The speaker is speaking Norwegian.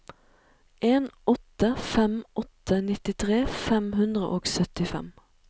en åtte fem åtte nittitre fem hundre og syttifem